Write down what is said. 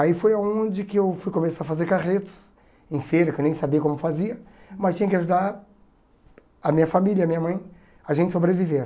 Aí foi onde que eu fui começar a fazer carretos, em feira, que eu nem sabia como fazia, mas tinha que ajudar a minha família, a minha mãe, a gente sobreviver.